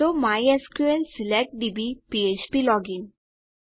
તો mysql select DB ફ્ફ્પ login